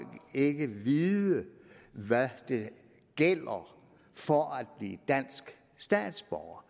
ikke må vide hvad der gælder for at blive dansk statsborger